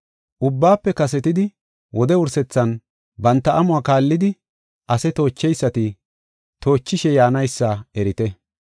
Ubbaafe kasetidi, wode wursethan banta amuwa kaallidi ase toocheysati, toochishe yaanaysa erite.